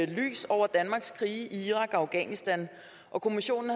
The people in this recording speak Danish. lys over danmarks krige i irak og afghanistan og kommissionen